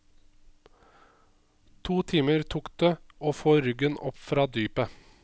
To timer tok det å få ruggen opp fra dypet.